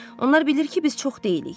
Onlar bilir ki, biz çox deyilik.